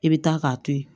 I bɛ taa k'a to yen